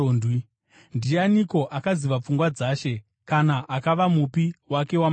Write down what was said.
“Ndianiko akaziva pfungwa dzaShe? Kana akava mupi wake wamazano?”